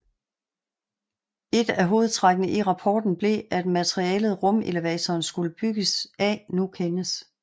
Et af hovedtrækkene i rapporten blev at materialet rumelevatoren skulle bygges af nu kendes